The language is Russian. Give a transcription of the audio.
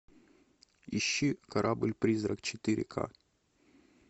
ищи корабль призрак четыре к